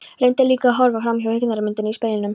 Reyndi líka að horfa framhjá hryggðarmyndinni í speglinum.